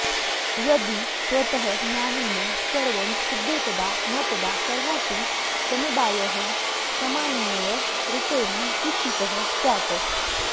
यदि स्वतः ज्ञानेन सर्वं सिध्येत्तदा मपदा सर्वोऽपि समुदायः समानेनैव रूपेण क्किसितः स्यात्